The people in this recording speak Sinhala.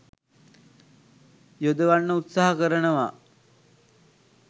යොදවන්න උත්සාහ කරනවා.